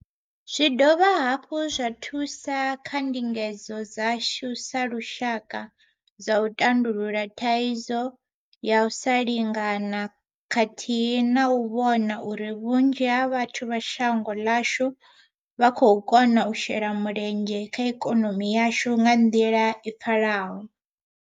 Zwi dovha hafhu zwa thusa kha ndingedzo dzashu sa lushaka dza u tandulula thaidzo ya u sa lingana khathihi na u vhona uri vhunzhi ha vhathu vha shango ḽashu vha khou kona u shela mulenzhe kha ikonomi yashu nga nḓila i pfalaho.